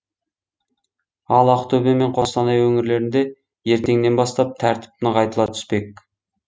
ал ақтөбе мен қостанай өңірлерінде ертеңнен бастап тәртіп нығайтыла түспек